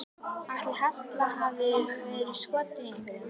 Ætli Halla hafi verið skotin í einhverjum?